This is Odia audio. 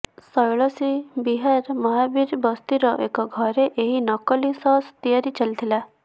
ଶୈଳଶ୍ରୀ ବିହାର ମହାବୀର ବସ୍ତିର ଏକ ଘରେ ଏହି ନକଲି ସସ୍ ତିଆରି ଚାଲିଥିଲା